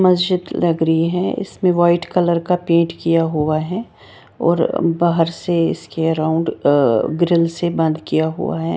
मस्जिद लग रही है इसपे व्हाइट कलर का पेन्ट किया हुआ है और बाहर से इसके राउन्ड ग्रिल से बंद किया हुआ है।